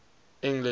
english